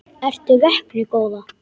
Ertu vöknuð góða?